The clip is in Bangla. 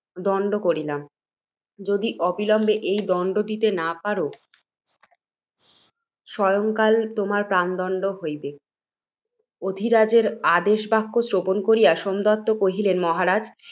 দণ্ড করিলাম, যদি অবিলম্বে এই দণ্ড দিতে না পার, সায়ংকালে তোমার প্রাণদণ্ড হইবে। অধি রাজের আদেশবাক্য শ্রবণ করিয়া, সোমদত্ত কহিলেন, মহারাজ!